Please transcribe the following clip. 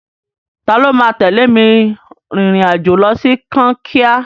Tani ó máa tẹ̀lé mi rìnrìn-àjò lọ sí Kankia?